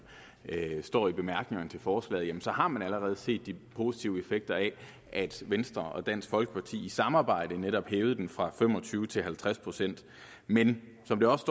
står i bemærkningerne til forslaget så har man allerede set de positive effekter af at venstre og dansk folkeparti i samarbejde netop hævede den fra fem og tyve procent til halvtreds procent men som der også